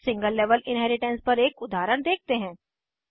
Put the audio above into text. अब single level inheritance पर एक उदाहरण देखते हैं